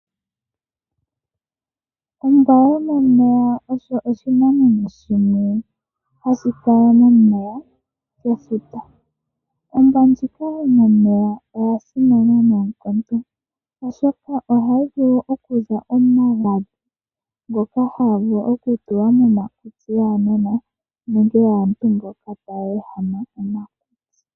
Ombwa yomomeya osho oshinamwenyo shono hashi kala momeya gefuta. Ombwa yomomeya oya simana noonkondo, oshoka ohayi vulu okuza omagadhi ngoka haga vulu okutulwa momakutsi gaanona nenge gaantu mboka taya ehama omakutsi.